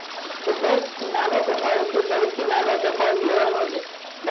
તો દસ ઈ નાનો તફાવત છે ઈ નાનો તફાવત લેવાનો છે